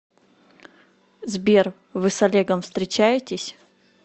сбер вы с олегом встречаетесь